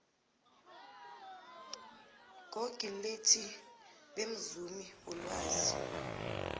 google lethi bemzumi wolwazi